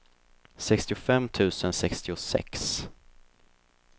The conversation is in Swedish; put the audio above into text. sextiofem tusen sextiosex